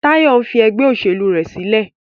Tayo nfí ègbé òṣèlú rẹ sílẹ̀.